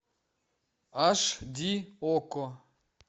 аш ди окко